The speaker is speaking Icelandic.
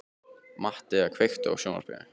Mattea, kveiktu á sjónvarpinu.